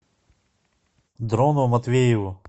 дрону матвееву